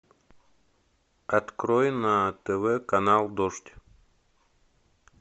открой на тв канал дождь